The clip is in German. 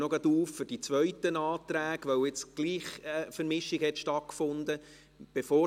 Ich eröffne diese für die zweiten Anträge, weil nun doch eine Vermischung stattgefunden hat.